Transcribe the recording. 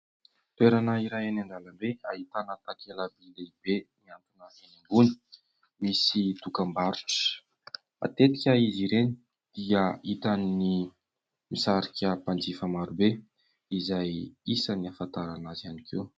Toerana iray any an-dalambe ahitana takela-by lehibe miantona enỳ ambony misy dokam-barotra. Matetika izy ireny dia hitan'ny misarika mpanjifa maro be izay isany ahafantarana azy ihany koa.